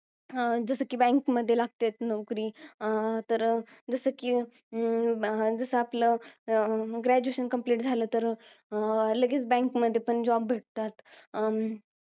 जसं कि, bank मध्ये लागते नोकरी. अं तर अं जसं कि, अं जसं आपलं, अं graduation complete तर अं लगेच, bank मध्ये पण job भेटतात. अं